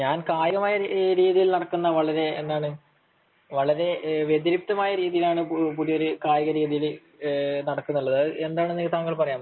ഞാൻ കായികപരമായി നടക്കുന്ന വളരെ എന്താണ് വളരെ വ്യതിരിക്തമായ രീതിയിലാണ് കായിക ഇതിൽ നടക്കുന്നത് അത് എന്താണെന്നു താങ്കൾക്ക് പറയാമോ